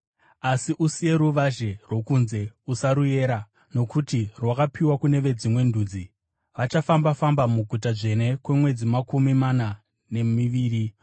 Asi usiye ruvazhe rwokunze; usaruyera, nokuti rwakapiwa kune veDzimwe Ndudzi. Vachafamba-famba muguta dzvene kwemwedzi makumi mana nemiviri.